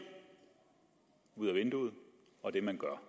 ud ad vinduet og det man gør